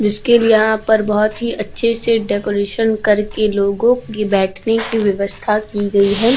जिसके लिए यहाँ पर बहोत ही अच्छे से डेकोरेशन करके लोगो की बैठने की व्यवस्था की गयी हैं।